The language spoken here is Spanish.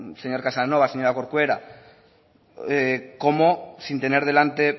señor casanova señora corcuera no sé cómo sin tener delante